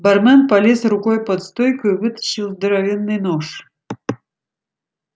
бармен полез рукой под стойку и вытащил здоровенный нож